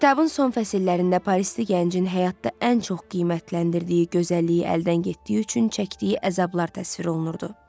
Kitabın son fəsillərində Parisli gəncin həyatda ən çox qiymətləndirdiyi gözəlliyi əldən getdiyi üçün çəkdiyi əzablar təsvir olunurdu.